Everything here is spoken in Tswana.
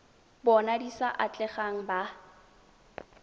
bona di sa atlegang ba